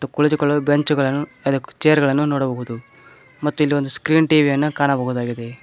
ಕುಳಿತುಕೊಳ್ಳಲು ಬೆಂಚುಗಳನ್ನು ಚೇರ್ ಗಳನ್ನು ನೋಡಬಹುದು ಮತ್ತು ಇಲ್ಲಿ ಒಂದು ಸ್ಕ್ರೀನ್ ಟಿ_ವಿ ಯನ್ನು ಕಾಣಬಹುದಾಗಿದೆ.